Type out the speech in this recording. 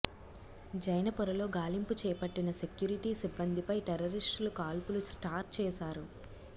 జైన పొర లో గాలింపు చేపట్టిన సెక్యూరిటీ సిబ్బంది పై టెర్రరిస్టులు కాల్పులు స్టార్ చేశారు